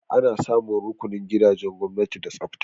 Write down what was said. Ana samun rukunin gidajen gwamnati da tsafta.